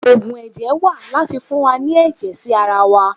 Ògùn ẹ̀jẹ̀ wà láti fún wa ní ẹ̀jẹ̀ sí ara wa.